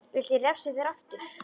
Viltu að ég refsi þér aftur.